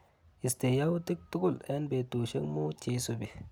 Istee yautik tukul eng betushiek muut cheisupi.